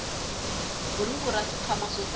buruku ra swikhwama swo tala